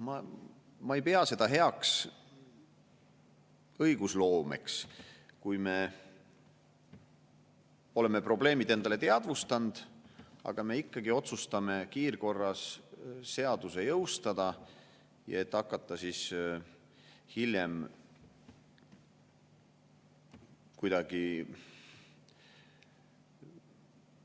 Ma ei pea seda heaks õigusloomeks, kui me oleme probleemid endale teadvustanud, aga ikkagi otsustame kiirkorras seaduse jõustada, et hakata siis hiljem